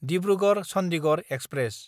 Dibrugarh-Chandigarh express